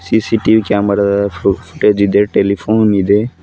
CCTV camera ದ footage ಇದೆ telephone ಇದೆ.